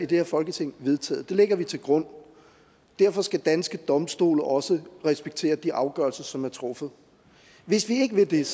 det her folketing vedtaget det lægger vi til grund derfor skal danske domstole også respektere de afgørelser som er truffet hvis vi ikke vil det er